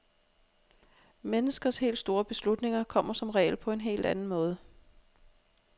Menneskers helt store beslutninger kommer som regel på en helt anden måde.